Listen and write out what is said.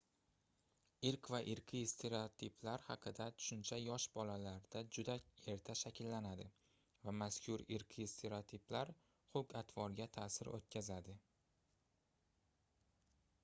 irq va irqiy stereotiplar haqida tushuncha yosh bolalarda juda erta shakllanadi va mazkur irqiy stereotiplar xulq-atvorga taʼsir oʻtkazadi